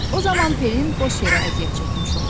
O zaman P-lin boş yerə əziyyət çəkmiş olar.